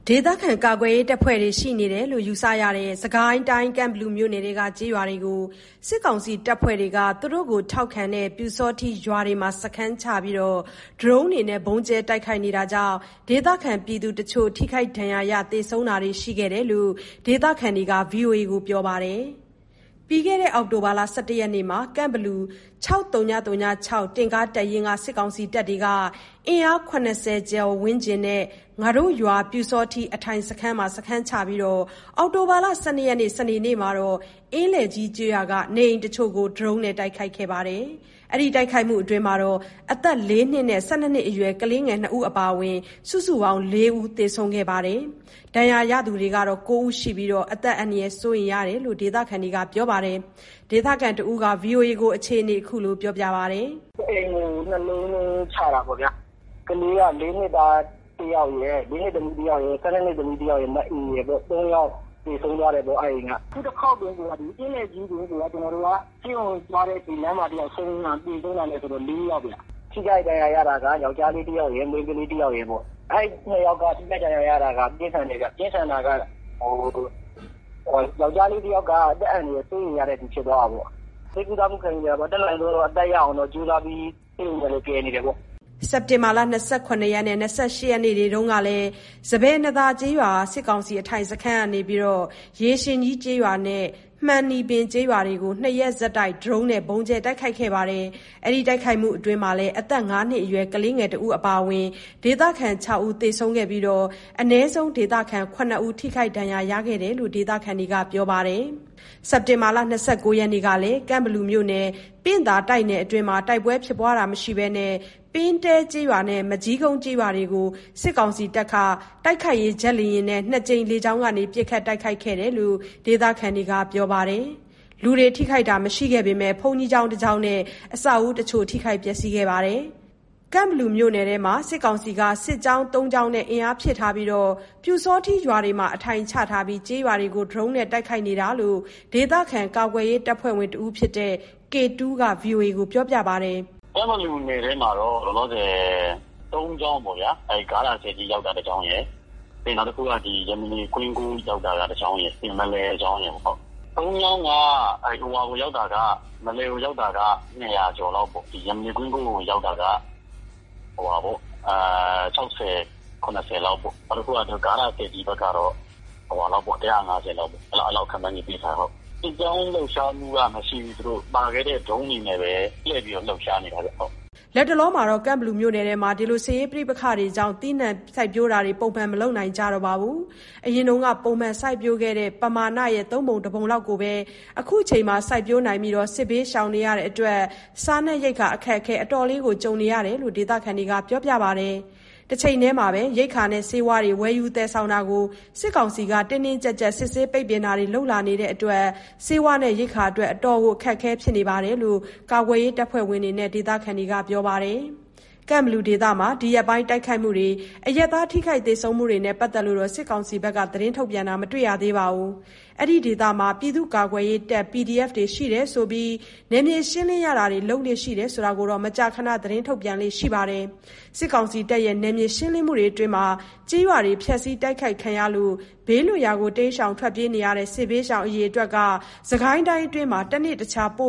ဒေသခံ ကာကွယ်ရေး တပ်ဖွဲ့ဝင်တွေ ရှိနေတယ်လို့ ယူဆရတဲ့ စစ်ကိုင်းတိုင်း ကန့်ဘလူမြို့နယ်က ကျေးရွာတွေကို စစ်ကောင်စီ တပ်ဖွဲ့တွေက သူတို့ကို ထောက်ခံတဲ့ ပျူစောထီးရွာတွေမှာ စခန်းချပြီး ဒရုန်းတွေနဲ့ ဗုံးကြဲ တိုက်ခိုက်နေတာကြောင့် ဒေသခံပြည်သူတချို့ ထိခိုက်ဒဏ်ရာရတာ သေဆုံးတာတွေ ရှိခဲ့တယ်လို့ ဒေသခံတွေက ဗွီအိုအေကို ပြောပါတယ်။ ပြီးခဲ့တဲ့အောက်တိုဘာ ၁၁ ရက်မှာ ကန့်ဘလူ ၆၀၀၆ တင့်ကား တပ်ရင်းက စစ်ကောင်စီတပ်တွေဟာ အင်အား ၇၀ ဝန်းကျင်လောက်နဲ့ "ငါတို့ရွာ ပျူစောထီး အထိုင်စခန်း" မှာ စခန်းချပြီး အောက်တိုဘာ ၁၂ ရက် စနေနေ့မှာ အင်းလယ်ကြီး ကျေးရွာက နေအိမ်တချို့ကို ဒရုန်းနဲ့ တိုက်ခိုက်ခဲ့တာကြောင့် အသက် ၄ နှစ်အရွယ် နဲ့ ၁၂ နှစ်အရွယ် ကလေးငယ် ၂ ဦး အပါအဝင် စုစုပေါင်း ၄ ဦး သေဆုံးခဲ့ပါတယ်။ ထိခိုက် ဒဏ်ရာရသူကတော့ ၉ ဦး ရှိပြီး အသက်အန္တရာယ် စိုးရိမ်ရတယ်လို့လည်း ဒေသခံတွေက ပြောပါတယ်။ဒေသခံတဦးက ဗွီအိုအေကို အခုလို ပြောပြပါတယ်။ “တအိမ်ကို ၂ လုံးနှုန်း ချတာပေါ့ဗျာ။ ကလေးက ၄ နှစ်သမီး တယောက်ရယ်၊ ၁၂ နှစ် သမီးတယောက်ရယ်။ မအေရယ်ပေါ့ ၃ ယောက် သေဆုံးသွားတယ်ပေါ့ အဲ့အိမ်က။ အခုတခေါက် အင်းလယ်ကြီး တင်ကို ဆေးရုံသွားရင်း လမ်းမှာ သေဆုံးသွားတာ တယောက်ဆိုတော့ သေဆုံးတာ ၄ ယောက်ဗျ။ ထိခိုက်ဒဏ်ရာ ရတာက ယောက်ျားတယောက်ရယ်၊ မိန်းမတယောက်ရယ်ပေါ့။ အဲ့ ၂ ယောက် ထိခိုက်ဒဏ်ရာ ရတာက ပြင်းထန်တယ်ဗျ။ ပြင်းထန်တာက ယောက်ျားက အသက် အန္တရာယ် စိုးရိမ်ရတဲ့အထိ ဖြစ်သွားတာပေါ့။ ဆေးကုသမှု ခံယူနေတာက အသက်ရအောင်တော့ ကြိုးစားပြီး ကယ်နေကြတယ်ပေါ့။” စက်တင်ဘာ ၂၇ ရက်နဲ့ ၂၈ ရက်နေ့တွေ တုန်းကလည်း စပါယ်နံ့သာ ကျေးရွာ စစ်ကောင်စီ အထိုင်စခန်းကနေ ရေရှင်ကြီးကျေးရွာနဲ့ မှန်နီပင် ကျေးရွာတို့ကို နှစ်ရက်ဆက်တိုက် ဒရုန်းနဲ့ ဗုံးကြဲ တိုက်ခိုက်လို့ အသက် ၅ နှစ်အရွယ် ကလေးငယ် အပါအဝင် ဒေသခံ ၆ ဦး သေဆုံးခဲ့ပြီး အနည်းဆုံး ဒေသခံ ၇ ဦး ထိခိုက်ဒဏ်ရာ ရခဲ့တယ်လို ဒေသခံတွေက ပြောပါတယ်။ စက်တင်ဘာ ၂၉ ရက်နေ့ကလည်း ကန့်ဘလူမြို့နယ် ပင့်သာတိုက်နယ် အတွင်းမှာ တိုက်ပွဲ ဖြစ်ပွားတာမရှိဘဲ ပင်းတဲ ကျေးရွာနဲ့ မကျီးကုန်း ကျေးရွာတွေကို စစ်ကောင်စီတပ်တွေက တိုက်ခိုက်ရေး ဂျက်လေယာဉ်နဲ့ ၂ ကြိမ် လေကြောင်းကနေ ပစ်ခတ် တိုက်ခိုက်ခဲ့တယ်လို့ ဒေသခံတွေက ပြောပါတယ်။ လူတွေ ထိခိုက်တာတော့ မရှိခဲ့ဘဲ ဘုန်းကြီးကျောင်းနဲ့ အဆောက်အဦး တချို့ ထိခိုက် ပျက်စီးခဲ့တယ်လို့လည်း ပြောပါတယ်။ ကန့်ဘလူမြို့နယ်အတွင်းမှာ စစ်ကောင်စီက စစ်ကြောင်း ၃ ကြောင်း နဲ့ အင်အားဖြည့်ထားပြီး ပျူစောထီးရွာတွေမှာ အထိုင်ချပြီးတော့ ကျေးရွာတွေကို ဒရုန်းနဲ့ တိုက်ခိုက်နေတာလို့ ဒေသခံ ကာကွယ်ရေးတပ်ဖွဲ့ဝင်တဦးဖြစ်တဲ့ K2 က ဗွီအိုအေကို ပြောပါတယ်။ “ကန့်ဘလူနယ်ထဲမှာတော့ လောလောဆယ် ၃ ကြောင်းပေါ့ဗျာ။ ဂါတာ ဆည်ကြီး ရောက်တဲ့ တစ်ကြောင်းရယ်၊ ပြီးတော့ နောက်တကြောင်းက ကွင်းကုန်း ရောက်နေတဲ့ တစ်ကြောင်းရယ်၊ နောက် မလည်က တစ်ကြောင်းရယ်။ ၃ ကြောင်းမှာ မလည်ကို ရောက်တာက ၂၀၀ ကျော်လောက်ပေါ့၊ ကွင်းကုန်းကို ရောက်တာက ၆၀၊ ၇၀ လောက်ပေါ့။ နောက်တခု ဂါးတာ ဆည်ကြီးဖက်ကတော့ ၁၅၀ လောက် အဲ့လောက် ခန့်မှန်းခြေ သိထားတယ်။ စစ်ကြောင်းလှုပ်ရှားမှုကတော့ မရှိသေးဘူး၊ သူတို့ ပါခဲ့တဲ့ ဒရုန်းတွေနဲ့ပဲ ကြဲပြီးတော့ လုပ်နေတာပေါ့။” လက်တလော ကန်ဘလူမြို့နယ်ထဲမှာ စစ်ရေးပဋိပက္ခတွေကြောင့် သီးနှံ စိုက်ပျိုးတာတွေလည်း ပုံမှန် မလုပ်နိုင်ကြတော့ပါဘူး။ အရင်က ပုံမှန် စိုက်ပျိုးခဲ့တဲ့ ပမာဏရဲ့ ၃ ပုံတပုံလောက်ကိုပဲ ခုချိန်မှာ စိုက်ပျိုးနိုင်ပြီး စစ်ဘေးရှောင်နေရတဲ့အတွက် စားနပ်ရိက္ခာ အခက်အခဲ အတော်လေး ကြုံနေရတယ်လို့လည်း ဒေသခံတွေက ပြောပြကြပါတယ်။ တချိန်တည်းမှာလည်း ရိက္ခာနဲ့ ဆေးဝါးတွေ ဝယ်ယူတာ သယ်ဆောင်တာတွေကို စစ်ကောင်စီက တင်းတင်းကျပ်ကျပ် စစ်ဆေးတာ၊ ပိတ်ပင်တာတွေ ပိုပြီးတော့ လုပ်လာနေတဲ့အတွက် ဆေးဝါးနဲ့ ရိက္ခာ အတော်ခက်ခဲတဲ့ အခြေအနေ ဖြစ်နေတယ်လို့ ကာကွယ်ရေး တပ်ဖွဲ့ဝင်တွေနဲ့ ဒေသခံတွေက ပြောကြပါတယ်။ ကန့်ဘလူဒေသမှာ ဒီရက်ပိုင်း တိုက်ခိုက်မှုတွေနဲ့ အရပ်သား ထိခိုက် သေဆုံးမှုတွေနဲ့ ပတ်သက်လို့ စစ်ကောင်စီဘက်ကတော့ သတင်း ထုတ်ပြန်တာတော့ မတွေ့ရသေးပါဘူး။ အဲ့ဒီဒေသတွေမှာ ပြည်သူ့ကာကွယ်ရေးတပ် PDF တွေ ရှိနေလို့ နယ်မြေရှင်းလင်းရတာတွေ လုပ်လေ့ရှိတာ ဆိုတာကိုတော့ မကြာခန သတင်းထုတ်ပြန်လေ့ ရှိပါတယ်။ စစ်ကောင်စီတပ်တွေရဲ့ နယ်မြေ ရှင်းလင်းမှုတွေအတွင်း ကျေးရွာတွေ ဖျက်ဆီး တိုက်ခိုက်ခံရလို့ ဘေးလွတ်ရာ တိမ်းရှောင် ထွက်ပြေးနေရတဲ့ စစ်ဘေးရှောင် အရေအတွက်က စစ်ကိုင်းတိုင်းအတွင်း တနေ့တခြား ပို